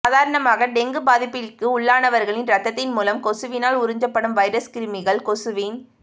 சாதாரணமாக டெங்கு பாதிப்பிற்கு உள்ளானவரின் ரத்தத்தின் மூலம் கொசுவினால் உறிஞ்சப்படும் வைரஸ் கிருமிகள் கொசுவின்